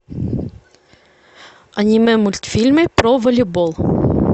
аниме мультфильмы про волейбол